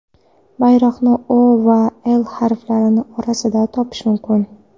Bayroqni O va L harflari orasidan topish mumkin.